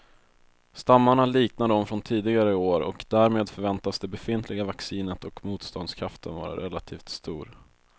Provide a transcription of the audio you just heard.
Stammarna liknar de från tidigare år och därmed förväntas det befintliga vaccinet och motståndskraften vara relativt stor.